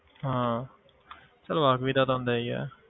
ਹਾਂ ਚੱਲ ਵਾਕਫ਼ੀ ਦਾ ਤਾਂ ਹੁੰਦਾ ਹੀ ਆ